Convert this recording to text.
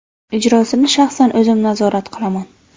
Ijrosini shaxsan o‘zim nazorat qilaman.